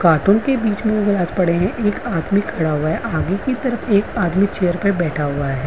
काँटों के बीच में पड़े हैं एक आदमी खड़ा हुआ है आगे कि तरफ एक आदमी चेयर पर बैठा हुआ है |